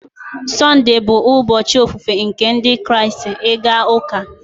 Sunday bụ ụbọchị ofufe nke Ndị Kraịst, ịga ụka.